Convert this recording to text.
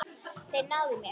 Þeir náðu mér.